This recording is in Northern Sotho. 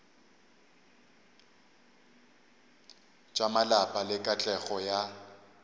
tša malapa le katlego ya